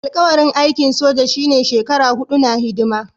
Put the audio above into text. Alƙawarin aikin soja shine shekaru huɗu na hidima